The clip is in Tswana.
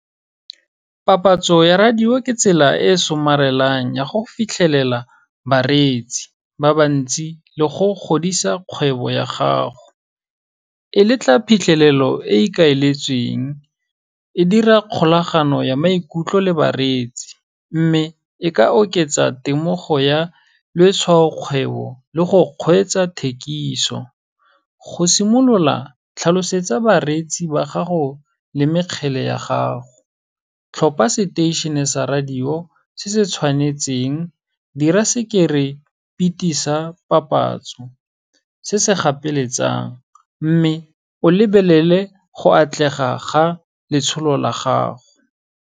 Papatso ya radio, ke tsela e somarelang ya go fitlhelela bareetsi ba ba ntsi le go godisa kgwebo ya gago. E letla phitlhelelo e e ikaeletsweng, e dira kgolagano ya maikutlo le bareetsi, mme e ka oketsa temogo ya letshwaokgwebo le go kgweetsa thekiso. Go simolola tlhalosetsa bareetsi ba gago le mekgele ya gago, tlhopa seteišhene sa radio se se tshwanetseng, dira sa papatso se se gapeletsang, mme o lebelele go atlega ga letsholo la gago.